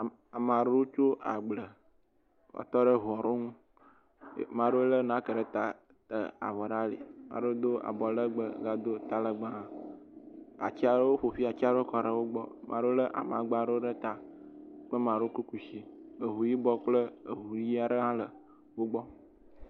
Ame aɖewo tso agble va tɔ ɖe eʋua ɖe ŋu. Ame aɖewo le nake ɖe ta avɔ ɖe ali. Ame aɖewo do abɔlegbe gado talegbe hã. Woƒo ƒuatsia ɖewo kɔɖe wogbɔ. Maɖewo le amagba ɖewo ɖe ta. Ke maɖewo kɔ kushi. Eʋu yibɔ kple eʋu ɣi aɖe le wogbɔ.